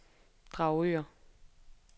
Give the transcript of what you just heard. Dragør